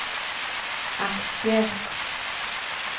aktier